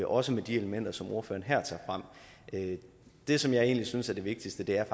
også med de elementer som ordføreren her tager frem det som jeg egentlig synes er det vigtigste er